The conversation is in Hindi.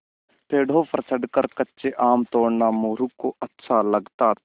पेड़ों पर चढ़कर कच्चे आम तोड़ना मोरू को अच्छा लगता था